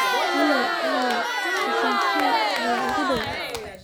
hello olly, dukaankee ayaa ii dhow?